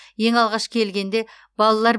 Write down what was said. ең алғаш келгенде балалар